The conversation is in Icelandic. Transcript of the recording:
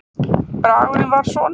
Bragurinn var svona